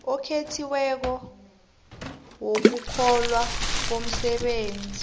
okhethiweko wokuhlolwa komsebenzi